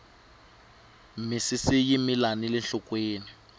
misisi yi mila nile nhlokweni